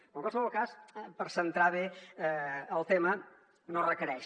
però en qualsevol cas per centrar bé el tema no es requereix